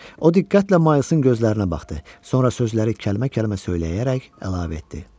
O diqqətlə Maylsın gözlərinə baxdı, sonra sözləri kəlmə-kəlmə söyləyərək əlavə etdi.